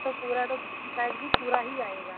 ਤੋਂ ਪੂਰਾ ਤਾਂ ਦੂਸਰੀ side ਵੀ ਪੂਰਾ ਹੀ ਆਏਗਾ